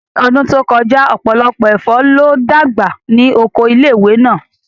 Ní ọdún tó kọjá, ọ̀pọ̀lọpọ̀ ẹ̀fọ́ ló dàgbà ní Oko ilé ìwé náà